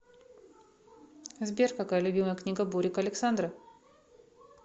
сбер какая любимая книга бурико александра